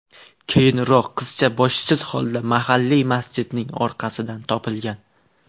Keyinroq qizcha boshsiz holda mahalliy masjidning orqasidan topilgan.